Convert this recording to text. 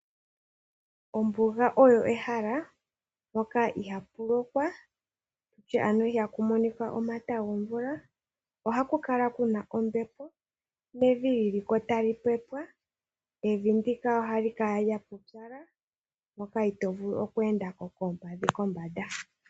Ombuga oyo ehala ndoka ihaa ku lokwa okutya ano ihaa ku monika omata gomvula. Ohaku kala kuna ombepo nevi liliko tali pepwa. Evi ndika ohali kala lya pupyala moka itoo vulu okweenda ko oompadhi kombanda.